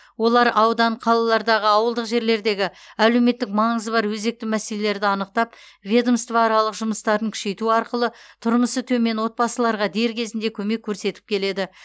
олар аудан қалалардағы ауылдық жерлердегі әлеуметтік маңызы бар өзекті мәселелерді анықтап ведомствоаралық жұмыстарын күшейту арқылы тұрмысы төмен отбасыларға дер кезінде көмек көрсетіп келеді